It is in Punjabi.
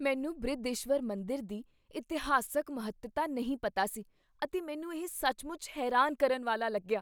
ਮੈਨੂੰ ਬ੍ਰਿਹਦੀਸ਼ਵਰ ਮੰਦਰ ਦੀ ਇਤਿਹਾਸਕ ਮਹੱਤਤਾ ਨਹੀਂ ਪਤਾ ਸੀ ਅਤੇ ਮੈਨੂੰ ਇਹ ਸੱਚਮੁੱਚ ਹੈਰਾਨ ਕਰਨ ਵਾਲਾ ਲੱਗਿਆ।